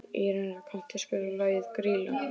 Írena, kanntu að spila lagið „Grýla“?